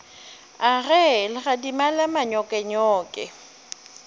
a ge legadima la manyokenyoke